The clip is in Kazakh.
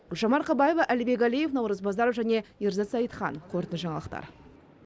гүлжан марқабаева әлібек әлиев наурыз базаров және ерзат зайытхан қорытынды жаңалықтар